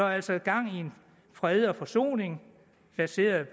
altså gang i fred og forsoning baseret